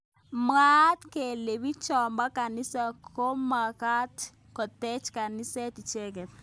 Mwaat kele bichotok bo kanisa komomakat kotech kaniset icheke.